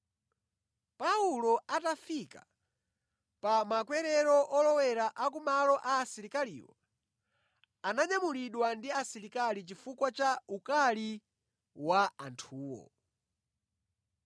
Paulo atafika pa makwerero olowera ku malo a asilikaliwo, ananyamulidwa ndi asilikali chifukwa cha ukali wa anthuwo.